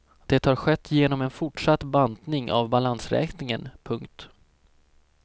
Det har skett genom en fortsatt bantning av balansräkningen. punkt